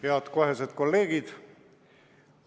Head kohesed kolleegid!